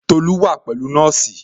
Tolu wa pẹ̀lú nọ́ọ̀sì